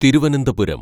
Thiruvananthapuram